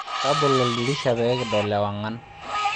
Tabolo oldirisha pee kidol ewangan